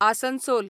Asansol